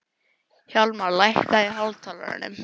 Hjálmar, lækkaðu í hátalaranum.